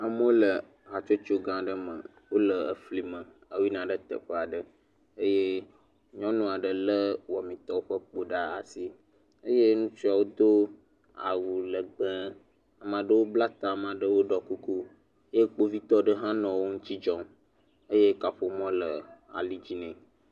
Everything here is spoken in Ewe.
Amewo le hatsotso gã aɖe me wole efli me woyina ɖe teƒe aɖe eye nyɔnu aɖe lé wɔmitɔwo ƒe kpo ɖe asi eye ŋutsuawo do awu legbe ameaɖewo bla ta eye am aɖewo ɖɔ kuku, eye kpovitɔ aɖe hã nɔ wo ŋuti dzɔm, kaƒomɔ le ali dzi nɛ.